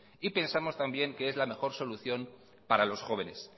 y pensamos también que es la mejor solución para los jóvenes